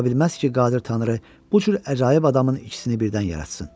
Ola bilməz ki, qadir Tanrı bu cür əcaib adamın ikisini birdən yaratsın.